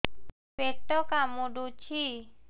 ପେଟ କାମୁଡୁଛି